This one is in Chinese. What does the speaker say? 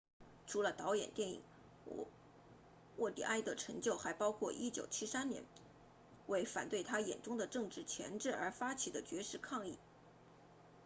除了导演电影沃蒂埃的成就还包括1973年为反对他眼中的政治钳制而发起的绝食抗议